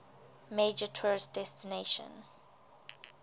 major tourist destination